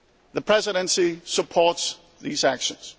The Presidency supports these actions.